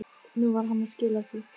Nú var hann að skila því.